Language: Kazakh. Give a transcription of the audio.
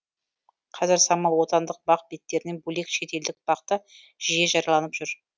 қазір самал отандық бақ беттерінен бөлек шет елдік бақ та да жиі жарияланып жүр